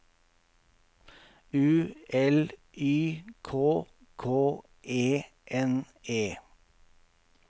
U L Y K K E N E